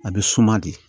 A bɛ suma de